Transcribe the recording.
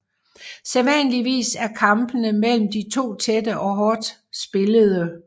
Sædvanligvis er kampene mellem de to tætte og hårdt spillede